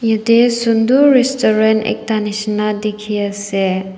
jatte sunder restaurant ekta nisna dekhi ase.